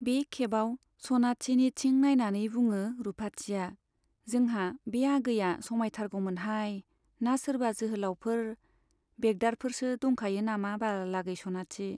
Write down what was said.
बे खेबाव सनाथिनिथिं नाइनानै बुङो रुपाथिया , जोंहा बे आगैया समाइथारगौमोनहाय , ना सोरबा जोहोलाउफोर , बेगदारफोरसो दंखायो नामा बाल आगै सनाथि ?